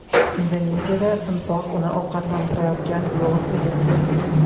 Indoneziyada timsoh uni ovqatlantirayotgan biologni yeb qo‘ydi.